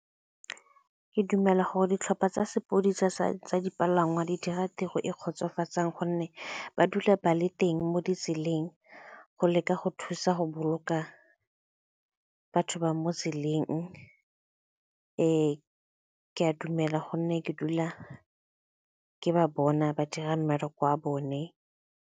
Ke dumela gore ditlhopha tsa sepidisa sa tsa dipalangwa di dira tiro e kgotsofatsang gonne ba dula ba le teng mo ditseleng go leka go thusa go boloka batho ba mo tseleng. Ee, ke a dumela gonne ke dula ke ba bona ba dira mmereko wa bone.